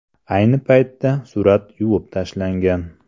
Ayni paytda surat yuvib tashlangan.